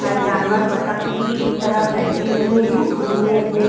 और जानवर बतक की तरह बैठे हुए हैं। उन्होंने अपने --